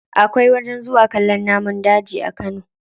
Akwai wajen zuwa kallon namun daji a kano.